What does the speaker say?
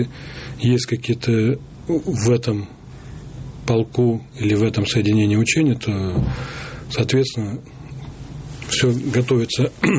есть какие-то в этом полку или в этом соединении учения то соответственно все готовится